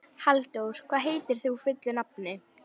Halldór, hvað heitir þú fullu nafni?